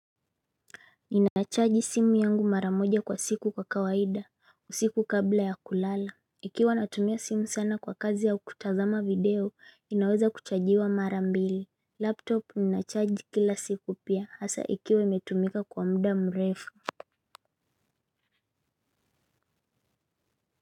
Ninacharge simu yangu mara moja kwa siku kwa kawaida usiku kabla ya kulala. Ikiwa natumia simu sana kwa kazi au kutazama video inaweza kuchajiwa mara mbili Laptop ninacharge kila siku pia hasa ikiwa imetumika kwa muda mrefu.